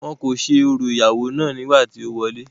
wọn kò ṣe orò ìyàwó náà nígbà tí ó wọlẹ́